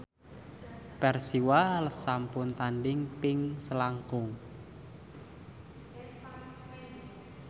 Persiwa sampun tandhing ping selangkung